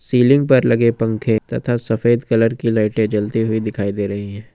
Ceiling पर लगे पंखे तथा सफेद कलर की लाइटें जलती हुई दिखाई दे रही हैं।